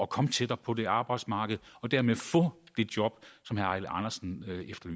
komme tættere på det arbejdsmarked og dermed få det job